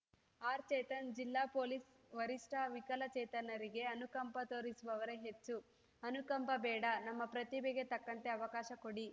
ಆರ್‌ಚೇತನ್‌ ಜಿಲ್ಲಾ ಪೊಲೀಸ್‌ ವರಿಷ್ಟ ವಿಕಲಚೇತನರಿಗೆ ಅನುಕಂಪ ತೋರಿಸುವವರೇ ಹೆಚ್ಚು ಅನುಕಂಪ ಬೇಡ ನಮ್ಮ ಪ್ರತಿಭೆಗೆ ತಕ್ಕಂತೆ ಅವಕಾಶ ಕೊಡಿ